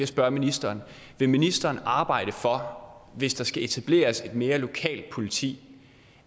spørge ministeren vil ministeren arbejde for hvis der skal etableres et mere lokalt politi